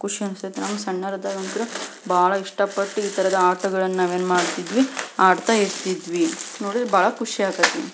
ಖುಷಿ ಅನ್ನಿಸತೈತಿ ನಾವು ಸಣ್ಣರ್ ಅದಾಗ ಅಂತೂ ಬಹಳ ಇಷ್ಟ ಪಟ್ಟುಇತರದ್ ಆಟ ಗಳನ್ನ ಆಡ್ತಾ ಇರ್ತಿದ್ವಿ.